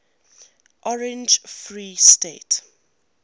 orange free state